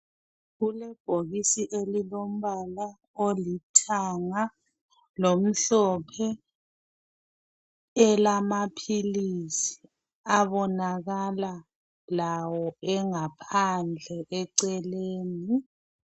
Kulebhokisi elilombala olithanga lokumhlophe elamaphilisi abonakala lawo engaphandle eceleni.